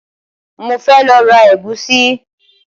Mo fẹ́ lọ ra ẹ̀gúsí